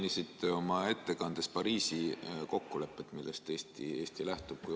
Mainisite oma ettekandes Pariisi kokkulepet, millest Eesti lähtub.